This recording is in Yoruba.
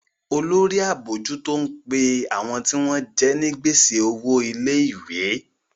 Olórí abojuto ń pe àwọn tí wọ́n jẹ ní gbèsè owo ilé-ìwé.